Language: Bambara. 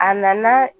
A nana